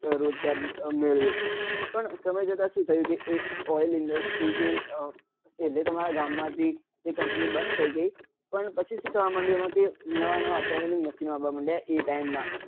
રોજગાર મેળવ્યો પણ સમય જતા એ oil industry એ પેલે તો અમારા ગામ માંથી એ company બંદ થઇ ગઈ પણ પછી શું થવા માંડ્યું અમ કે નવા નવા અત્યાધુનિક machine આવવા માંડ્યા એ time નાં